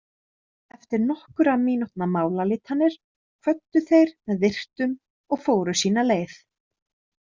Eftir nokkurra mínútna málaleitanir kvöddu þeir með virktum og fóru sína leið.